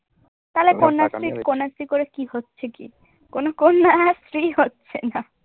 তালে কন্যাশ্রীর কন্যাশ্রী করে কি হচ্ছে কি? কোনও কন্যা আহ শ্রী হচ্ছেনা।